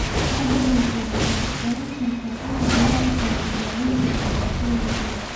Taa beddelkeeda, waxaad dooran kartaa inaad diirada saarto daawaynta dhibaatooyinkeeda.